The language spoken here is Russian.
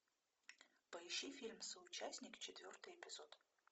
поищи фильм соучастник четвертый эпизод